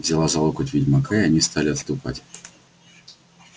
взяла за локоть ведьмака и они стали отступать